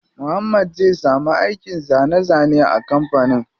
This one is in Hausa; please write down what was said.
Muhammad zai samu aikin zane zane a kampanin.